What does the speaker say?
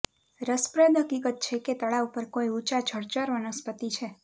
રસપ્રદ હકીકત છે કે તળાવ પર કોઈ ઊંચા જળચર વનસ્પતિ છે